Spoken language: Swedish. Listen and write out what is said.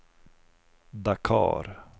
Dakar